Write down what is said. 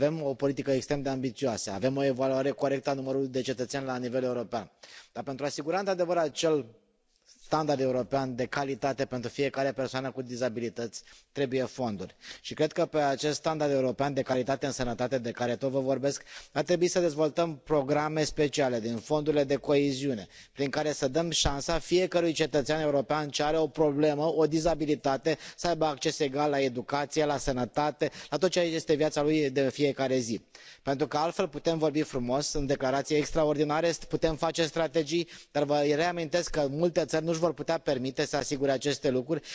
Avem o politică extrem de ambițioasă, avem o evaluare corectă a numărului de cetățeni la nivel european, dar pentru a asigura într adevăr acel standard european de calitate pentru fiecare persoană cu dizabilități trebuie fonduri. Cred că pe acest standard european de calitate în sănătate de care vă tot vorbesc, ar trebui să dezvoltăm programe speciale din fondurile de coeziune, prin care să dăm șansa fiecărui cetățean european ce are o problemă, o dizabilitate, să aibă acces egal la educație, la sănătate, la tot ceea ce este viața lui de fiecare zi, pentru că altfel putem vorbi frumos, sunt declarații extraordinare, putem face strategii, dar vă reamintesc că multe țări nu își vor putea permite să asigure aceste lucruri.